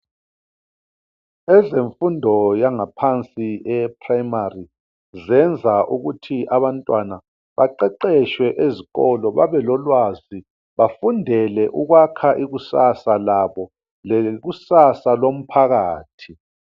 Ezemfundo yangaphansi eye primary zenza ukuthi abantwana baqeqetshe ezikolo babe lolwazi bafundele ukwakha ikusasa labo lekusasa lomphakathi